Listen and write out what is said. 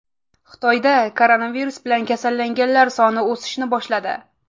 Xitoyda koronavirus bilan kasallanganlar soni o‘sishni boshladi.